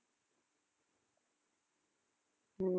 உம்